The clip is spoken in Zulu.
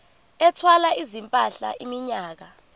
ethwala izimpahla iminyaka